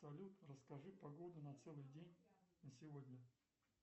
салют расскажи погоду на целый день на сегодня